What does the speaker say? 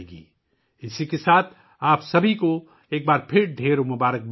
اسی کے ساتھ، ایک بار پھر آپ سب کے لیے بہت سی نیک خواہشات